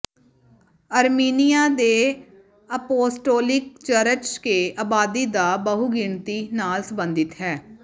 Armenia ਦੇ apostolic church ਕੇ ਆਬਾਦੀ ਦਾ ਬਹੁਗਿਣਤੀ ਨਾਲ ਸਬੰਧਿਤ ਹੈ